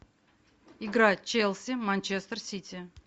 игра челси манчестер сити